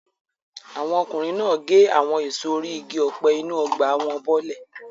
Àwọn ọkùnrin náà gé àwọn èso orí igi ọ̀pẹ inú ọgbà wọn bọ́lẹ̀.